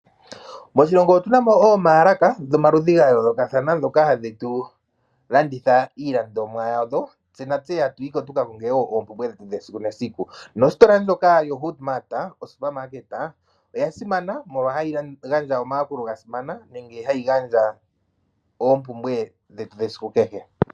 Moshilongo otuna mol oombaalaka dhomaludhi dha yoolokathana ndhoka hadhi tu landitha iilandomwa yadho, tse natse hatu yi ko tuka konge oompumbwe dhetu dhesiku nesiku nositola ndjoka yedhina HoodMart Supermarket oya simana molwa hayi gandja omayakulo ga simana nenge hayi gandja dhoompumbwe dhetu dhesiku kehe.